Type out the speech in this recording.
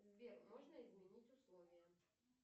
сбер можно изменить условия